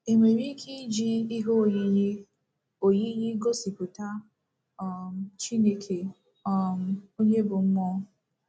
E nwere ike iji ihe oyiyi oyiyi gosipụta um Chineke, um onye ‘ bụ́ mmụọ ’?